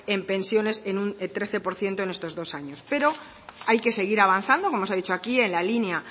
en pensiones en un trece por ciento en estos dos años pero hay que seguir avanzando como se ha dicho aquí en la línea